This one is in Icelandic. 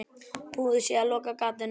Búið sé að loka gatinu.